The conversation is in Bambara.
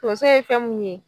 Tonzo ye fɛn mun ye.